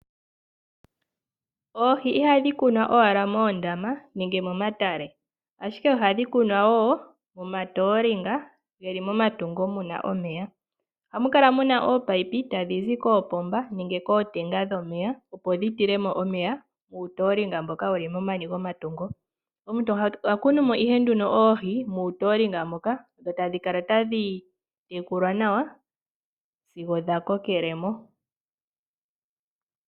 Oohi ihadhi kunwa owala moondama nenge momatale, ashike ohadhi kunwa wo momatoolinga ge li momatungo mu na omeya. Ohamu kala mu na koopayipi tadhi zi koopomba nenge kootenga dhomeya opo dhi tile mo omeya uutoolinga mboka wu li momani gomatungo. Omuntu oha kunu mo ihe nduno oohi muutoolinga moka dho tadhi kala tadhi tekulwa nawa sigo dha kokele mo